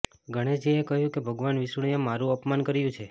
ગણેશજીએ કહ્યું કે ભગવાન વિષ્ણુંએ મારુ અપમાન કર્યું છે